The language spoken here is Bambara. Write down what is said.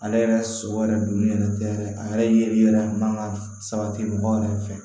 Ale yɛrɛ sogo yɛrɛ donni yɛrɛ tɛ yɛrɛ a yɛrɛ yeli yɛrɛ man kan ka sabati mɔgɔ yɛrɛ fɛ